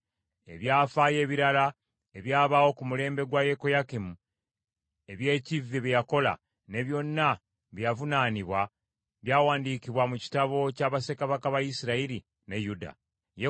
Ebyafaayo ebirala ebyabaawo ku mulembe gwa Yekoyakimu, eby’ekivve bye yakola, ne byonna bye yavunaanibwa, byawandiikibwa mu kitabo kya bassekabaka ba Isirayiri ne Yuda. Yekoyakini mutabani we n’amusikira.